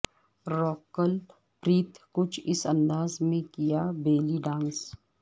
rocket Preet کچھ اس انداز میں کیا بیلی ڈانس